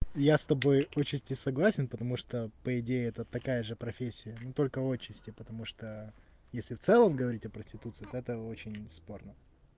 я с тобой отчасти согласен потому что по идее это такая же профессия но только отчасти потому что если в целом говорить о проституции то это очень спорно